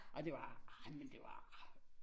Og det var ej men det var ej